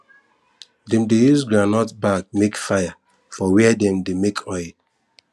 dem dey use groundnut back make fire for where dem dey make oil